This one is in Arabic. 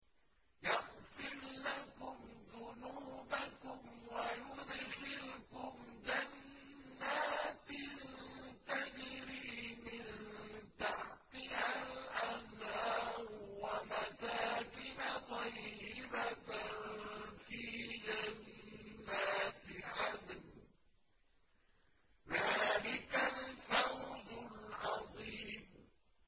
يَغْفِرْ لَكُمْ ذُنُوبَكُمْ وَيُدْخِلْكُمْ جَنَّاتٍ تَجْرِي مِن تَحْتِهَا الْأَنْهَارُ وَمَسَاكِنَ طَيِّبَةً فِي جَنَّاتِ عَدْنٍ ۚ ذَٰلِكَ الْفَوْزُ الْعَظِيمُ